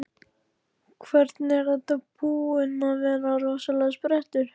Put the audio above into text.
Hvernig, er þetta búinn að vera rosalegur sprettur?